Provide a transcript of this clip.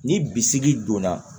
Ni bisigi donna